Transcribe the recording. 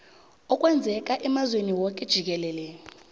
okwenzeka emazweni woke jikelele